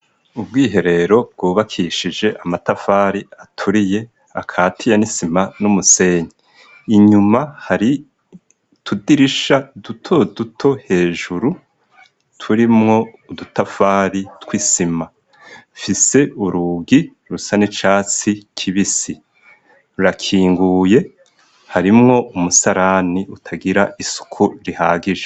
Ubwiherero bwubakishije amatafari aturiye akatiye n'isima n'umusenyi, inyuma hari utudirisha duto duto hejuru turimwo udutafari tw'isima, ifise urugi rusa n'icatsi kibisi rurakinguye harimwo umusarani utagira isuku rihagije.